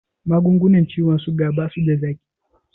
Magungunan ciwon suga basuda zaƙi